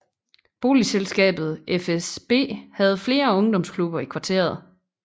Boligselskabet FSB havde flere ungdomsklubber i kvarteret